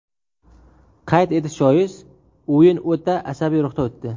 Qayd etish joiz, o‘yin o‘ta asabiy ruhda o‘tdi.